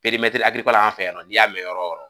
an fɛ yan n'i y'a mɛn yɔrɔ o yɔrɔ